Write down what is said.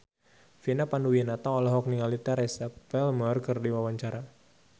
Vina Panduwinata olohok ningali Teresa Palmer keur diwawancara